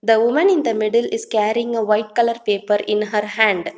The woman in the middle is carrying a white colour paper in her hand.